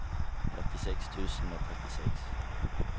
femtiseks tusen og trettiseks